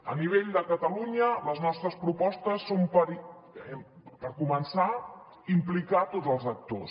a nivell de catalunya les nostres propostes són per començar implicar tots els actors